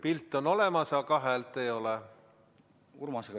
Pilt on olemas, aga häält ei ole.